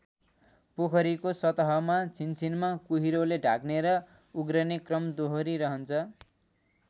पोखरीको सतहमा छिनछिनमा कुहिरोले ढाक्ने र उघ्रने क्रम दोहरिरहन्छ।